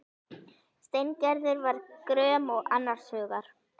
Steingerður var gröm og annars hugar.